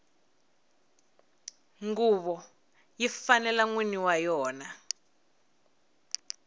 nguvo yi fanela nwini wa yona